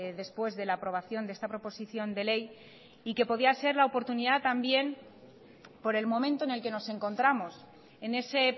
después de la aprobación de esta proposición de ley y que podía ser la oportunidad también por el momento en el que nos encontramos en ese